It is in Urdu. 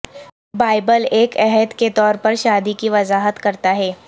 بائبل ایک عہد کے طور پر شادی کی وضاحت کرتا ہے